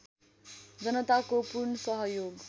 जनताको पूर्ण सहयोग